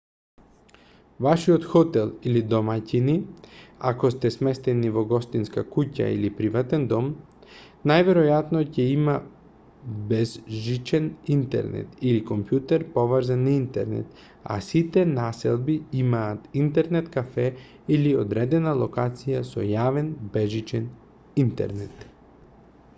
вашиот хотел или домаќини ако сте сместени во гостинска куќа или приватен дом најверојатно ќе има безжичен интернет или компјутер поврзан на интернет а сите населби имаат интернет-кафе или одредена локација со јавен безжичен интернет